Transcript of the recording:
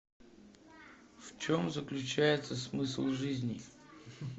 в чем заключается смысл жизни